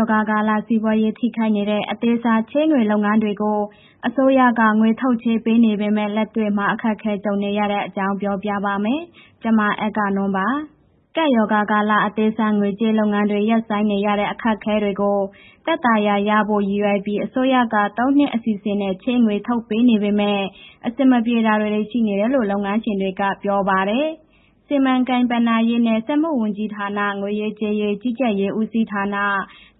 ောဂါကာလ စီးပွားရေးထိခိုက်နေတဲ့ အသေးစားချေးငွေလုပ်ငန်းတွေကို အစိုးရက ငွေထုတ်ချေးနေပေမယ့် လက်တွေ့မှာ အခက်အခဲ ကြုံနေရတဲ့အကြောင်း ပြောပြပါမယ်။ ဗွီအိုအေမြန်မာပိုင်း သတင်းထောက် မအဂ္ဂနွန်က သတင်းပေးပို့ထားပါတယ်။ ကပ်ရောဂါကာလ အသေးစားငွေကြေး လုပ်ငန်းတွေ ရင်ဆိုင်နေရတဲ့ အခက်အခဲတွေကို သက်သာရာရစေဖို့ ရည်ရွယ်ပြီး အစိုးရက ၃ နှစ် အစီအစဉ်နဲ့ ချေးငွေထုတ်ပေးနေပေမဲ့ အဆင်မပြေတာတွေ ရှိနေတယ်လို့ လုပ်ငန်းရှင်တွေက ပြောပါတယ်။ စီမံကိန်း၊ ဘဏ္ဍာရေးနဲ့ စက်မှုဝန်ကြီးဌာန၊ ငွေရေးကြေးရေး ကြီးကြပ်ရေးဦးစီးဌာန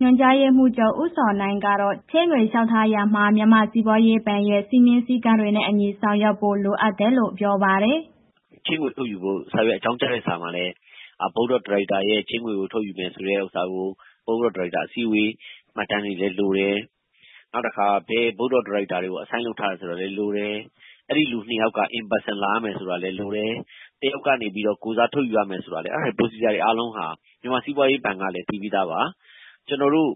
ညွှန်ကြားရေးမှူးချုပ် ဦးဇော်နိုင်ကတော့ ချေးငွေလျှောက်ထားရာမှာ မြန်မာ့စီးပွားရေးဘဏ်ရဲ့ စည်းမျဉ်းစည်းကမ်းတွေနဲ့အညီ ဆောင်ရွက်ဖို့ လိုတယ်လို့ ပြောပါတယ်။ “ချေးငွေ ထုတ်ယူဖို့ စာရွက်အကြောင်းကြားတဲ့ စာမှာလည်း ဘုတ်အဖွဲ့ ဒါရိုက်တာရဲ့ ချေးငွေထုတ်ယူမယ်ဆိုတဲ့ ဥစ္စာကို ဘုတ်အဖွဲ့ ဒါရိုက်တာ အစည်းအဝေးမှတ်တမ်းတွေလည်း လိုတယ်။ နောက်တစ်ခါ ဘယ်ဘုတ်အဖွဲ့ ဒါရိုက်တာကို assign (တာဝန်ပေး) ထားတယ် ဆိုတာလည်းလိုတယ်။ အဲ့ဒီလူ ၂ ယောက်က ကိုယ်တိုင်လာရမယ်ဆိုတာလည်း လိုတယ်။ တစ်ယောက်ကနေပြီးတော့ ကိုယ်စားထုတ်ယူရမယ် အဲ့ဒါတွေ producer တွေအားလုံးဟာ မြန်မာ့စီးပွားရေးဘဏ်ကလည်း သိပြီးသားပါ။ ကျနော်တို့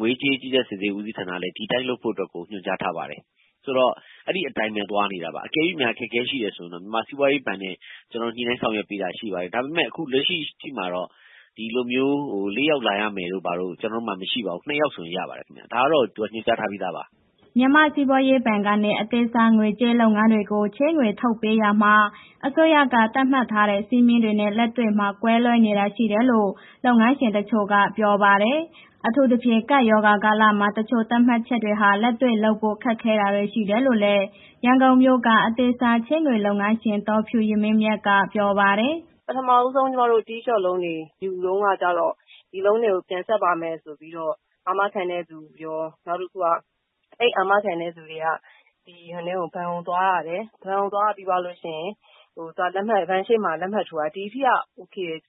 ငွေရေးကြေးရေး ကြီးကြပ်စစ်ဆေးရေး ဦးစီးဌာနလည်း ဒီအတိုင်းလုပ်ဖို့အတွက်ကို ညွှန်ကြားထားပါတယ်။ ဆိုတော့ အဲ့ဒီအတိုင်းပဲ သွားနေတယ်။ တကယ်လို့များ အခက်ခဲ ရှိတယ်ဆိုရင်တော့ မြန်မာ့စီးပွားရေးဘဏ်နဲ့ ကျနော်တို့ ညှိနှိုင်းဆောင်ရွက်ပေးတာရှိပါတယ်။ ဒါပေမဲ့ အခုလက်ရှိမှာတော့ ဒီလိုမျိုး ၄ ယောက်လာရမယ်တို့ဘာတို့ ကျနော်တို့မှာ မရှိပါဘူး။ ၂ ယောက်ဆိုရင် ရပါတယ်။ ဒါတော့ ညွှန်ကြားထားပြီးသားပါ။” မြန်မာ့စီးပွားရေးဘဏ်ကနေ အသေးစားငွေကြေးလုပ်ငန်းတွေကို ချေးငွေထုတ်ပေးရာမှာ အစိုးရက သတ်မှတ်ထားတဲ့ စည်းမျဉ်းတွေနဲ့ လက်တွေ့မှာ ကွဲလွဲတာတွေ ရှိနေတယ်လို့ လုပ်ငန်းရှင်တချို့က ပြောပါတယ်။ အထူးသဖြင့် ကပ်ရောဂါကာလမှာ တချို့ သတ်မှတ်ချက်တွေဟာ လက်တွေ့လုပ်ဖို့ ခက်တာတွေ ရှိတယ်လို့လည်း ရန်ကုန်မြို့က အသေးစားချေးငွေလုပ်ငန်းရှင် ဒေါ်ဖြူယမင်းမြတ်က ပြောပါတယ်။ “ပထမဦးဆုံး Tea Shop တွေ ချေးငွေယူတုန်းကကျတော့ ငွေတွေ ပြန်ဆပ်ပါမယ်ဆိုတော့ အာမခံတဲ့ သူရော နောက်တစ်ခု အာမခံတဲ့သူတွေက ဘဏ်ကိုသွားရတယ်။ ဘဏ်သွားပြီးလို့ရှိရင် ဘဏ်ရှေ့မှာ လက်ထိုးရတယ်၊ ဒီအထိက အိုကေတယ်၊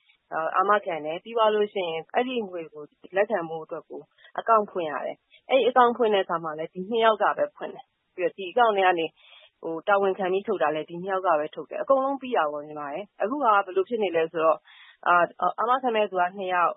အာမခံတယ်။ ပြီးသွားလို့ရှိရင် ဒီငွေကို လက်ခံဖို့အတွက် အကောင့်ဖွင့်ရတယ်။ အကောင့်ဖွင့်တဲ့အခါမှာလည်း ဒီနှစ်ယောက်ကပဲဖွင့်တယ်။ ပြီးတော့ ဒီအကောင့်ကနေပြီးတော့ တာဝန်ခံပြီးထုတ်တာ နှစ်ယောက်က ထုတ်တယ်။ အကုန်လုံးပြီးတာပေါ့။ အခုဟာက ဘယ်လိုဖြစ်နေလဲဆိုတော့ အာမခံမယ့်လူက နှစ်ယောက်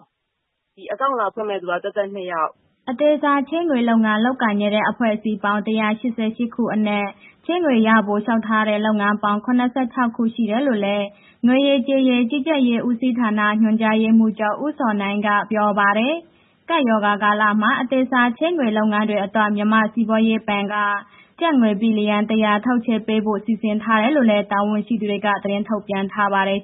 ၊ ဒီအကောင့်လာဖွင့်လူက သပ်သပ်နှစ်ယောက်။” အသေးစားချေးငွေလုပ်ငန်း လုပ်ကိုင်နေတဲ့ အဖွဲ့အစည်းပေါင်း ၁၈၈ ခုအနက် ချေးငွေရဖို့ လျှောက်ထားတဲ့ လုပ်ငန်းပေါင်း ၇၆ ခုရှိတယ်လို့လည်း ငွေရေးကြေးရေး ကြီးကြပ်ရေးဦးစီးဌာန ညွှန်ကြားရေးမှူးချုပ် ဦးဇော်နိုင်က ပြောပါတယ်။ ကပ်ရောဂါကာလမှာ အသေးစားချေးငွေ လုပ်ငန်းတွေအတွက် မြန်မာ့စီးပွားရေးဘဏ်က ကျပ်ငွေဘီလီယံ ၁၀၀ ထုတ်ချေးပေးဖို့ စီစဉ်ထားတယ်လို့လည်း တာဝန်ရှိသူတွေ သတင်းထုတ်ပြန်ထားပါတယ်